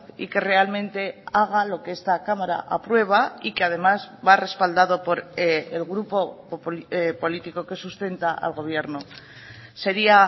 y que realmente haga lo que esta cámara aprueba y que además va respaldado por el grupo político que sustenta al gobierno sería